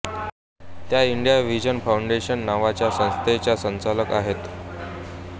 त्या India vision foundation नावाची संस्थेच्या संचालक आहेत